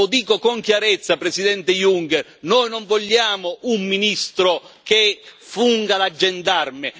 Lo dico con chiarezza, Presidente Juncker noi non vogliamo un ministro che funga da gendarme!